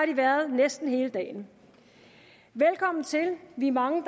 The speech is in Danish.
de været næsten hele dagen velkommen til vi er mange